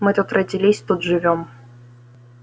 мы тут родились тут живём